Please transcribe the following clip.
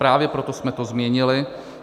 Právě proto jsme to změnili.